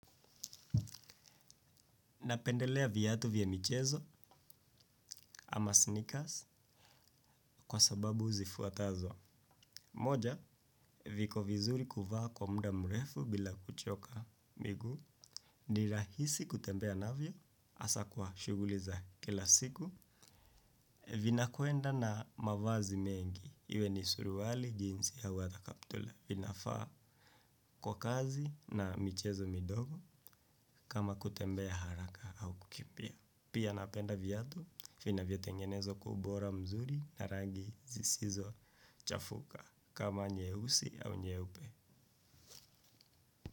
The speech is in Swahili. Napendelea viatu vya michezo ama sneakers kwa sababu zi fuatazo. Moja, viko vizuri kuvaa kwa muda mrefu bila kuchoka miguu. Ni rahisi kutembea navyo hasa kwa shughuli za kila siku. Vinakwenda na mavazi mengi. Iwe ni suruali, jinsi au ata kaptula. Vinafaa kwa kazi na michezo midogo kama kutembea haraka au kukimbia. Pia napenda viatu vinavyo tengenezwa kwa ubora mzuri na rangi zisizo chafuka kama nyeusi au nyeupe.